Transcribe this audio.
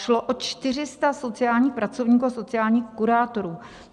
Šlo o 400 sociálních pracovníků a sociálních kurátorů.